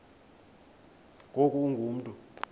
ngoku ungu mntu